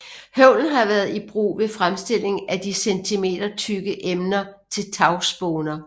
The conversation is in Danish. Høvlen har været i brug ved fremstilling af de centimetertykke emner til tagspåner